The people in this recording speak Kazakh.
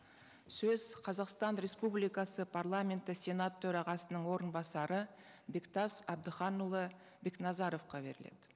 сөз қазақстан республикасы парламенті сенат төрағасының орынбасары бектас әбдіханұлы бекназаровқа беріледі